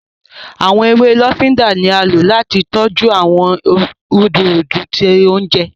Awọn ewé lofinda ní a ló láti tọjú awọn rudurudu tí oúnjẹ